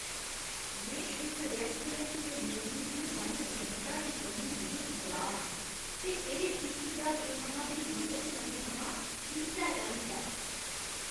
में इस रैस्टोरैंट दे मेन्यु च बन्न सबन्नता दी कमी मूजब नराश आं ते एह् इक द्हाके थमां बी मते समें थमां इस्सै चाल्ली दा ऐ।